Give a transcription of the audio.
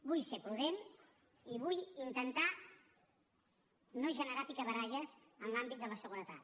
vull ser prudent i vull intentar no generar picabaralles en l’àmbit de la seguretat